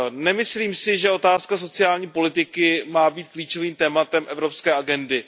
Nemyslím si, že otázka sociální politiky má být klíčovým tématem evropské agendy.